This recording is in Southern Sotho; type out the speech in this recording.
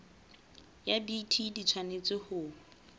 ya bt di tshwanetse ho